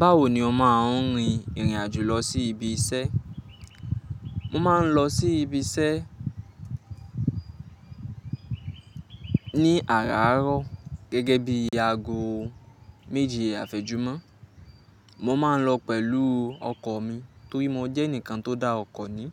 Báwo ni o máa ń rin ìrìn àjò lọ sí ibi iṣẹ́? Mo máa ń lọ sí ibi iṣẹ́ ní àràárọ̀ gẹ́gẹ́ bí aago méjẹ àfẹ́jùmọ́. Mo máa ń lọ pẹ̀lú ọkọ̀ mi torí mo jẹ́ ẹnìkan tó dá ọkọ̀ ni.